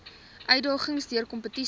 uitdagings deur kompetisie